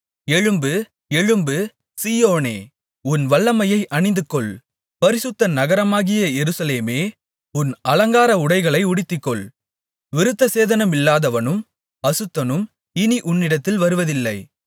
எழும்பு எழும்பு சீயோனே உன் வல்லமையை அணிந்துகொள் பரிசுத்த நகரமாகிய எருசலேமே உன் அலங்கார உடைகளை உடுத்திக்கொள் விருத்தசேதனமில்லாதவனும் அசுத்தனும் இனி உன்னிடத்தில் வருவதில்லை